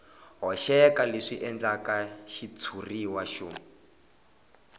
hoxeka leswi endlaka xitshuriwa xo